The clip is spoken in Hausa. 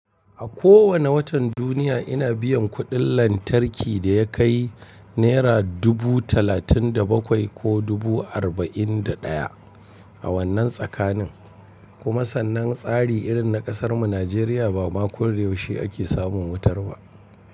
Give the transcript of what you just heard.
A kowani watan duniya ina biyan kuɗin lantarki da ya kai naira dubu talatin da bakwai ko dubu arba'in da ɗaya a wannan tsakanin. Kuma sannan tsari irin na ƙasarmu Nijeriya ba ma koyaushe ake samun wutar ba.